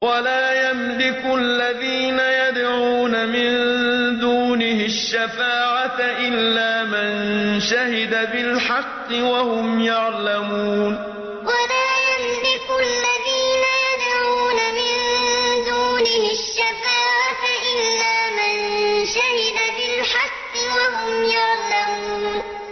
وَلَا يَمْلِكُ الَّذِينَ يَدْعُونَ مِن دُونِهِ الشَّفَاعَةَ إِلَّا مَن شَهِدَ بِالْحَقِّ وَهُمْ يَعْلَمُونَ وَلَا يَمْلِكُ الَّذِينَ يَدْعُونَ مِن دُونِهِ الشَّفَاعَةَ إِلَّا مَن شَهِدَ بِالْحَقِّ وَهُمْ يَعْلَمُونَ